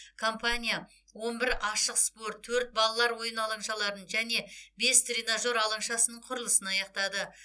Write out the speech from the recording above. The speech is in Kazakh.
компания он бір ашық спорт төрт балалар ойын алаңшаларын және бес тренажер алаңшасының құрылысын аяқтады